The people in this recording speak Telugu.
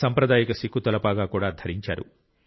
సాంప్రదాయిక సిక్కు తలపాగా కూడా ధరించారు